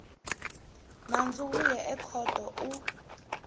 nandzu wu ya ekhoto u